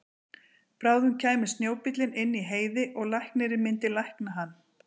Bráðum kæmi snjóbíllinn inn í Heiði og læknirinn myndi lækna hann.